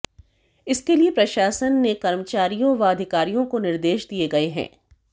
इसके लिए प्रशासन ने कर्मचारियों व अधिकारियों को निर्देश दिए गए हैं